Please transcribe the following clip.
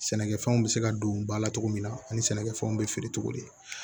Sɛnɛkɛfɛnw bɛ se ka don ba la cogo min na ani sɛnɛkɛfɛnw bɛ feere cogo di